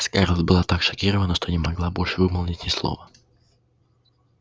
скарлетт была так шокирована что не могла больше вымолвить ни слова